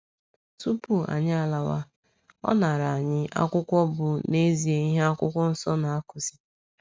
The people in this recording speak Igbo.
Tupu anyị alawa, ọ naara anyị akwụkwọ bụ́ n’ezie ihe akwụkwọ nso na-akụzi.